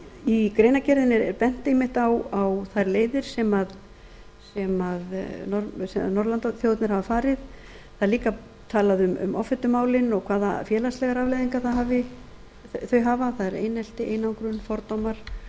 í greinargerðinni er bent einmitt á þær leiðir sem norðurlandaþjóðirnar hafa farið það er líka talað um offitumálin og hvaða félagslegar afleiðingar þau hafa það er einelti einangrun fordómar